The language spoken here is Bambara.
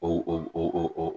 O